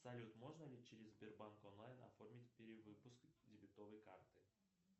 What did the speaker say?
салют можно ли через сбербанк онлайн оформить перевыпуск дебетовой карты